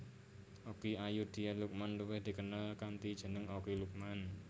Okky Ayudhia Lukman luwih dikenal kanthi jeneng Okky Lukman